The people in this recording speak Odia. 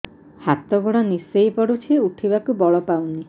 ହାତ ଗୋଡ ନିସେଇ ପଡୁଛି ଉଠିବାକୁ ବଳ ପାଉନି